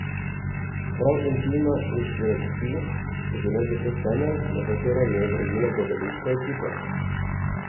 Prav intima in strasti so bile zato temelj, na katerem je gradila gledališka ekipa.